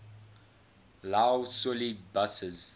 lough swilly buses